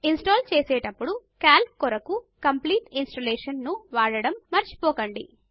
install చేసేటప్పుడు Calc కొరకు complete installation ను వాడడము మరచిపోకండి